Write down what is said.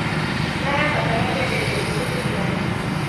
Marabatara kwenderio ngukũ cigana.